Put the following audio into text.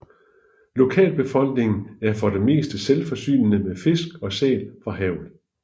Lokalbefolkningen er for det meste selvforsynende med fisk og sæl fra havet